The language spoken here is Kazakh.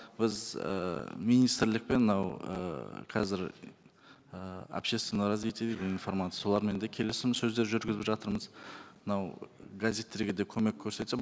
біз ыыы министрлікпен мынау ыыы қазір ы общественного развития дейді информации солармен де келісім сөздер жүргізіп жатырмыз мынау газеттерге де көмек көрсетсе